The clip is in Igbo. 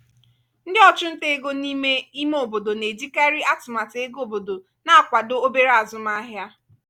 ndị ọchụnta ego n’ime ime obodo na-ejikarị atụmatụ ego obodo na-akwado obere azụmahịa.